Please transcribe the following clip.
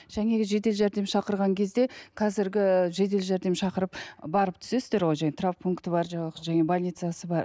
жаңағы жедел жәрдем шақырған кезде қазіргі жедел жәрдем шақырып барып түсесіздер ғой жаңағы травмпункті бар жаңағы больницасы бар